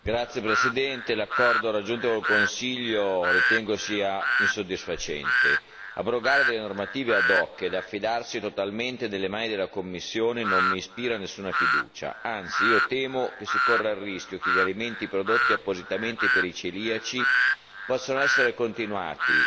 Signora Presidente, onorevoli colleghi, l'accordo raggiunto con il Consiglio lo ritengo insoddisfacente abrogare delle normative e affidarsi totalmente nelle mani della Commissione non mi ispira nessuna fiducia, anzi io temo che si corra il rischio che gli alimenti prodotti appositamente per i celiaci possano essere continuati